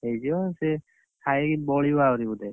ହେଇଯିବ ସେ, ଖାଇକି ବଳିବ ଆଉରି ବୋଧେ।